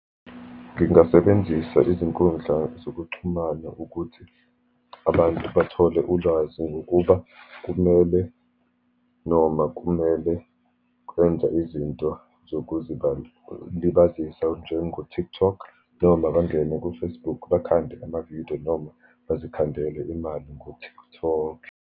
Ngingasebenzisa izinkundla zokuxhumana ukuthi abantu bathole ulwazi ngokuba kumele, noma kumele kwenza izinto zokuzilibazisa njengo-TikTok, noma bangene ko-Facebook bakhande amavidiyo, noma bazikhandele imali ngo-TikTok.